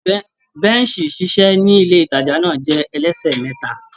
Bẹ́ẹ̀ṣì ìṣiṣẹ́ ní ilé-ìtàjà náà jẹ́ ẹlẹ́sẹ̀ mẹ́ta.